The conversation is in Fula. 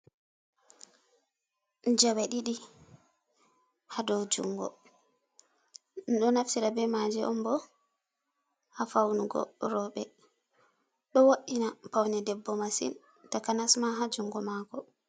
Jawe ɗiɗi ha dou jungo, ɗum ɗo naftira be maje on bo ha faunugo roɓɓe, ɗo wo’ina paune debbo masin, takanasma ha jungo mako.